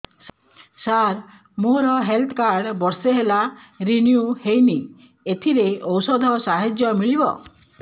ସାର ମୋର health card ବର୍ଷେ ହେଲା ରିନିଓ ହେଇନି ଏଥିରେ ଔଷଧ ସାହାଯ୍ୟ ମିଳିବ